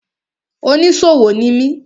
Oníṣòwò ni mi.